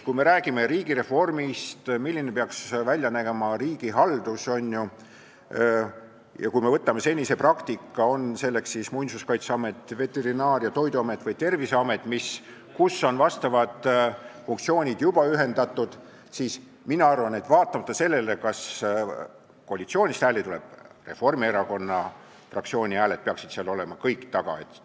Kui me räägime riigireformist, sellest, milline peaks välja nägema riigihaldus, ja kui me vaatame senist praktikat, kas siis Muinsuskaitseametit, Veterinaar- ja Toiduametit või Terviseametit, kus on funktsioonid juba ühendatud, siis mina arvan, et vaatamata sellele, kas koalitsioonist hääli tuleb, peaksid Reformierakonna fraktsiooni hääled kõik seal taga olema.